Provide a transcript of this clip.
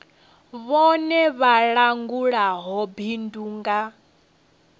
vhone vha langulaho bindu nga